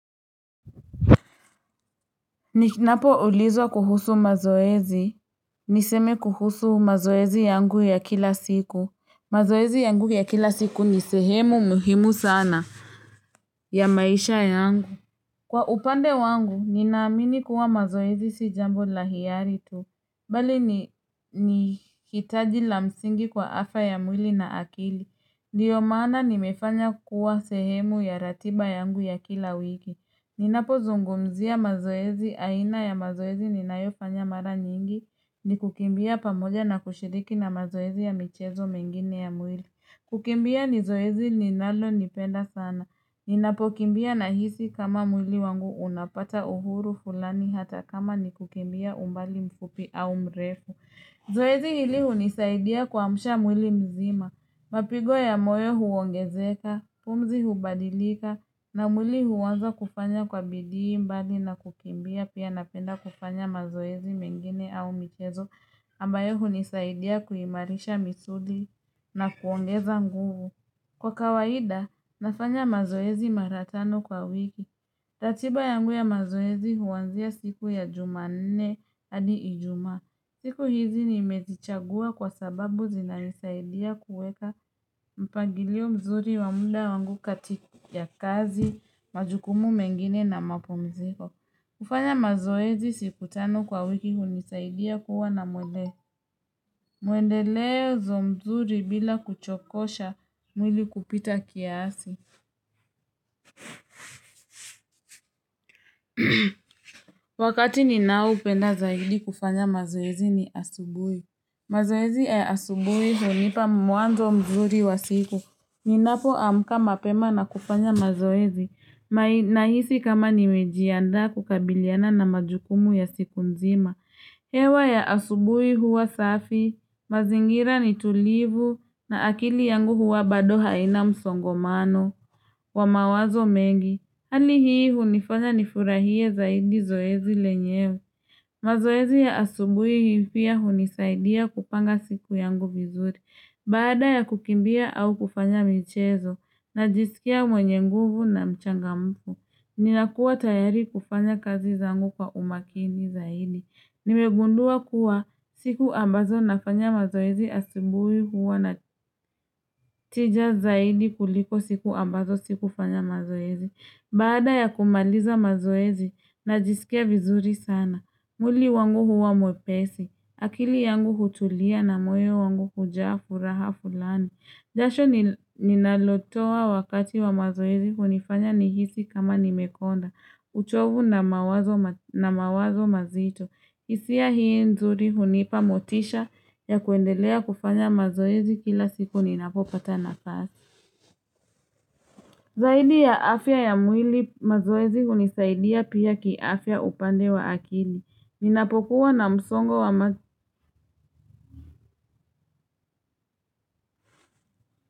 Ninapo ulizwa kuhusu mazoezi. Niseme kuhusu mazoezi yangu ya kila siku. Mazoezi yangu ya kila siku ni sehemu muhimu sana ya maisha yangu. Kwa upande wangu, ninaamini kuwa mazoezi si jambo la hiari tu. Bali ni hitaji la msingi kwa afya ya mwili na akili. Ndiyo maana nimefanya kuwa sehemu ya ratiba yangu ya kila wiki. Ninapozungumzia mazoezi aina ya mazoezi ni nayofanya mara nyingi ni kukimbia pamoja na kushiriki na mazoezi ya michezo mengine ya mwili. Kukimbia ni zoezi ninalolipenda sana. Ninapokimbia nahisi kama mwili wangu unapata uhuru fulani hata kama ni kukimbia umbali mfupi au mrefu. Zoezi hili hunisaidia kuamsha mwili mzima. Mapigo ya moyo huongezeka, pumzi hubadilika na mwili huanza kufanya kwa bidii mbali na kukimbia pia napenda kufanya mazoezi mengine au michezo ambayo hunisaidia kuimarisha misuli na kuongeza nguvu. Kwa kawaida, nafanya mazoezi mara tano kwa wiki. Ratiba yangu ya mazoezi huanzia siku ya jumanne hadi ijumaa. Siku hizi nimezichagua kwa sababu zinanisaidia kuweka mpangilio mzuri wa muda wangu katika ya kazi, majukumu mengine na mapumziko. Kufanya mazoezi siku tano kwa wiki hunisaidia kuwa na mwili. Mwendelezo mzuri bila kuchokosha mwili kupita kiasi. Wakati ninaopenda zaidi kufanya mazoezi ni asubui. Mazoezi ya asubui hunipa mwanzo mzuri wa siku. Ninapoamka mapema na kufanya mazoezi. Nahisi kama nimejianda kukabiliana na majukumu ya siku nzima. Hewa ya asubui huwa safi. Mazingira ni tulivu na akili yangu huwa bado haina msongomano wa mawazo mengi. Hali hii hunifanya nifurahie zaidi zoezi lenyewe. Mazoezi ya asubui pia hunisaidia kupanga siku yangu vizuri. Baada ya kukimbia au kufanya mchezo najisikia mwenye nguvu na mchangamfu. Ninakuwa tayari kufanya kazi zangu kwa umakini zaidi. Nimegundua kuwa siku ambazo nafanya mazoezi asubui huwa na tija zaidi kuliko siku ambazo sikufanya mazoezi Bada ya kumaliza mazoezi najisikia vizuri sana mwili wangu huwa mwepesi akili yangu hutulia na moyo wangu hujaa furaha fulani jasho ninalotoa wakati wa mazoezi kunifanya nihisi kama nimekonda uchovu na mawazo mazito hisia hii nzuri hunipa motisha ya kuendelea kufanya mazoezi kila siku ninapopata nafasi. Zaidi ya afya ya mwili mazoezi hunisahidia pia kiafya upande wa akili. Ninapokuwa na msongo wa mazoezi.